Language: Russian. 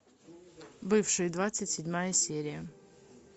бывшие двадцать седьмая серия